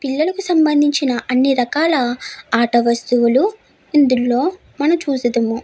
పిల్లలకు సంబందించిన అన్ని రకాల ఆట వస్తువులు ఇందులో మనం చుసుతుము.